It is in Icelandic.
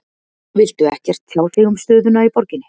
Viltu ekkert tjá þig um stöðuna í borginni?